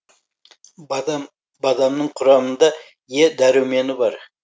бадам бадамның құрамында е дәрумені бар